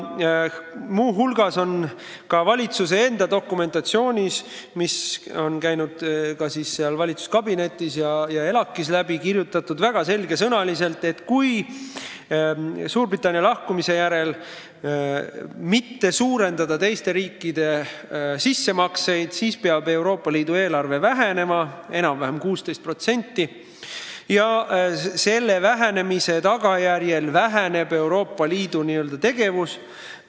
Muu hulgas on ka meie valitsuse dokumentides, mis on valitsuskabinetist ja ELAK-ist läbi käinud, selge sõnaga kirjas, et kui Suurbritannia lahkumise järel ei suurendata teiste riikide sissemakseid, siis peab Euroopa Liidu eelarve umbes 16% vähenema ja selle vähenemise tagajärjel väheneb ka Euroopa Liidu tegevus.